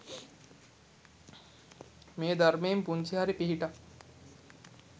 මේ ධර්මයෙන් පුංචි හරි පිහිටක්